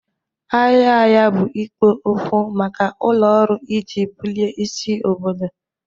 Ahịa ahịa bụ ikpo okwu maka ụlọ ọrụ iji bulie isi obodo.